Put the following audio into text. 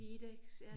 Widex ja